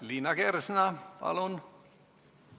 Liina Kersna, palun!